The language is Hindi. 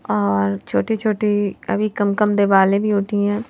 और छोटी-छोटी अभी कमकम दे वाले भी उठी हैं।